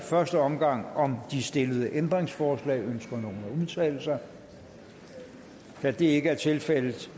i første omgang om de stillede ændringsforslag ønsker nogen at udtale sig da det ikke er tilfældet